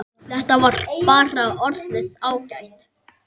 Þetta var bara orðið ágætt.